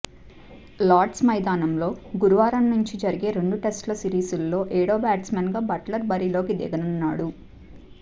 Lord's మైదానంలో గురువారం నుంచి జరిగే రెండు టెస్టు సిరీస్లలో ఏడో బ్యాట్స్మన్గా బట్లర్ బరిలోకి దిగనున్నాడు